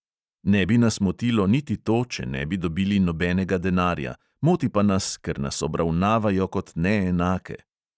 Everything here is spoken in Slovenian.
Ne bi nas motilo niti to, če ne bi dobili nobenega denarja; moti pa nas, ker nas obravnavajo kot neenake.